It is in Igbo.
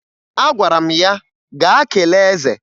Agwara m ya, "gaa kelee eze!"